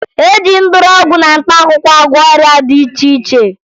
E ji mgbọrọgwụ na mkpaakwụkwọ agwọ ọrịa dị iche iche